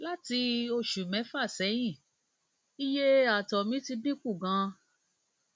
láti oṣù mẹfà sẹyìn iye ààtọ mi ti dín kù ganan